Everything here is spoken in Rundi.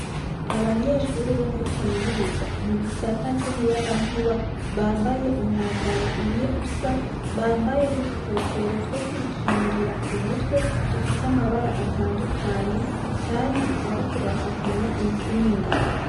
Abanyeshure bo muri kaminuza mu gisata c'umuyagankuba bambaye umwambaro umwe usa, bambaye n'udukofero two kwikingira ku mutwe, dufise amabara atandukanye kandi bariko bafatanya intsinga.